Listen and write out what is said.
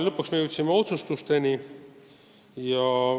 Lõpuks jõudsime otsuste tegemiseni.